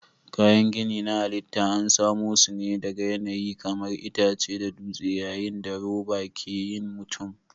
Kayan gini na halitta an samo su ne daga yanayi kamar itace da dutse yayin da roba ke yin mutum.